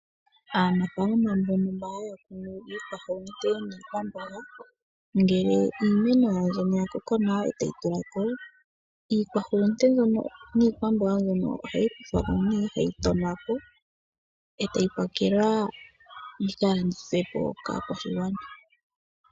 Aanafaalama mbono haya kunu iihulunde niikwamboga ngele iimeno yawo mbyono ya koko nawa e tayi tula ko iihulunde mbyono niikwamboga mbyono ohayi kuthwa ko nee hayi tonwa ko, e tayi pakelwa yikalandithwe po kaakwashigwana.